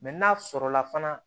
Mɛ n'a sɔrɔ la fana